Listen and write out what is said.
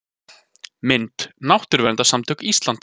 Mynd: Náttúruverndarsamtök Íslands